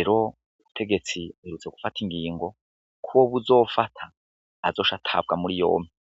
ero ubutegetsi mirutse gufata ingingo kuwo buze ofata azosha atabwa muri yompe.